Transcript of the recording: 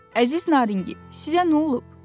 Əziz Naringi, sizə nə olub?